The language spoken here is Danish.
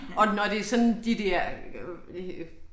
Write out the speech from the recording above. Og når det sådan de dér øh